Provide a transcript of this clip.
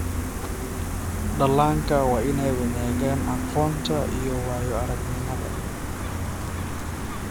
Dhallaanka waa in ay wadaagaan aqoonta iyo waayo-aragnimada.